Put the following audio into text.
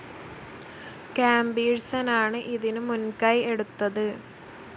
കാമ്പീഴ്സനാണ് ഇതിനു മുൻകൈ എടുത്തത്.